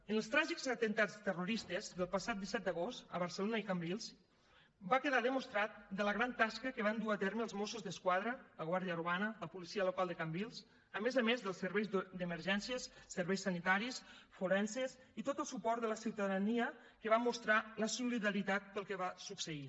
en els tràgics atemptats terroristes del passat disset d’agost a barcelona i cambrils va quedar demostrada la gran tasca que van dur a terme els mossos d’esquadra la guàrdia urbana la policia local de cambrils a més a més dels serveis d’emergències serveis sanitaris forenses i tot el suport de la ciutadania que va mostrar la solidaritat pel que va succeir